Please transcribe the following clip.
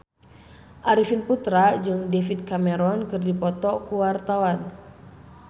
Arifin Putra jeung David Cameron keur dipoto ku wartawan